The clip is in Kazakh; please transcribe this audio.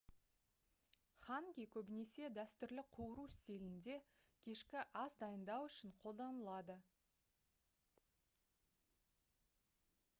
ханги көбінесе дәстүрлі қуыру стилінде кешкі ас дайындау үшін қолданылады